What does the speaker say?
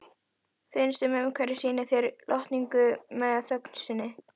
Finnst að umhverfið sýni mér lotningu með þögn sinni.